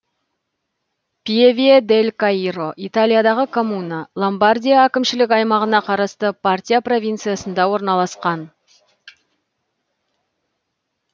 пьеве дель каиро италиядағы коммуна ломбардия әкімшілік аймағына қарасты партия провинциясында орналасқан